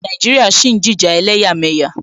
Nàìjíríà ṣì ń jìjà ẹlẹ́yàmẹyà.